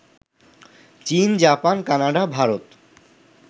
চীন, Japan, Canada, Bharat